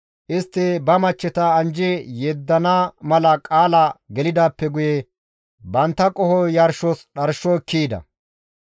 Istti ba machcheta anjji yeddana mala qaala gelidaappe guye bantta qoho yarshos dharsho ekki ehida.